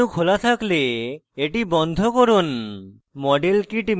model kit menu খোলা থাকলে এটি বন্ধ করুন